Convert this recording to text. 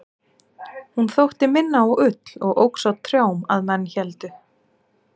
hún þótti minna á ull og óx á trjám að menn héldu